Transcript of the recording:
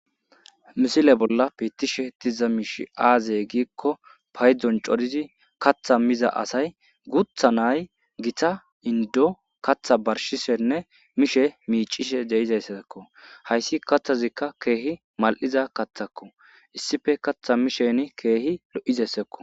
misile bolla piittishe diza miish aazey giikko payddzon corizi katha miza asay gutha nay gita indo katha barshishenne mishe miicishe deizayssakko hayssi kathazikka keehi mal7iza kathako issife katha misheni keehi lo7izassekko